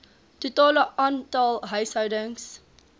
totale aantal huishoudings